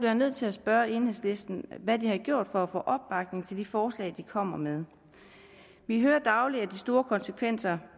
jeg nødt til at spørge enhedslisten hvad de har gjort for at få opbakning til de forslag de kommer med vi hører dagligt om de store konsekvenser